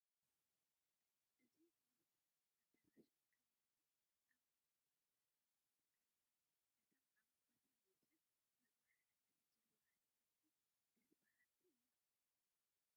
እዚ ምልኩዕ ኣዳራሽን ከባቢኡን ኣብ ኣኽሱም ረምሃይ ሆቴል ዝርከብ እዩ፡፡ እቶም ኣብ ወሰን ወሰን መመሓላለፊ ዘለዉ ኣትክልቲ ደስ በሃልቲ እዮም፡፡